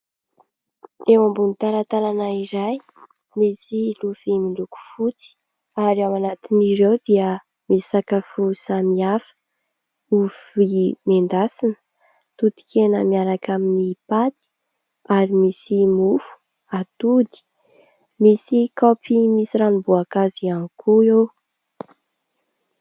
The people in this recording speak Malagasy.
Eo ambony talatalana iray misy lovia miloko fotsy ary ao ananatin'ireo dia misakafo samy hafa, ovy nendasina totikena miaraka amin'ny paty ary misy mofo, atody, misy kaopy misy ranom-boakazo ihany koa eo.